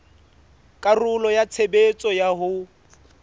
karolo ya tshebetso ya ho